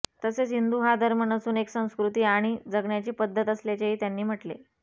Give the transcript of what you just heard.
तसेच हिंदू हा धर्म नसून एक संस्कृती आणि जगण्याची पद्धत असल्याचेही त्यांनी म्हटले